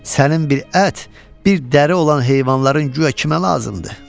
Sənin bir ət, bir dəri olan heyvanların guya kimə lazımdır?